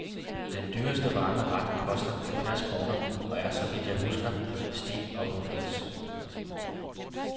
Den dyreste varme ret koster halvfjerds kroner, og er, så vidt jeg husker, steak og pommes frites.